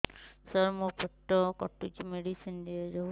ସାର ମୋର ପେଟ କାଟୁଚି ମେଡିସିନ ଦିଆଉନ୍ତୁ